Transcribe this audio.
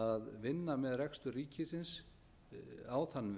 að vinna með rekstur ríkisins á þann